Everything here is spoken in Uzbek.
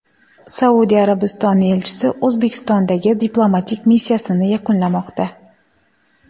Saudiya Arabistoni elchisi O‘zbekistondagi diplomatik missiyasini yakunlamoqda.